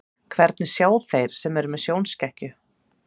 Hvernig sjá þeir sem eru með sjónskekkju?